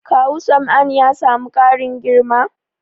Kawu Sam'an ya samu ƙarin girma?